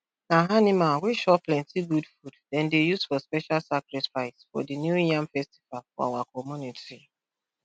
na animal wey chop plenty good food dem dey use for special sacrifice for the new yam festival for our community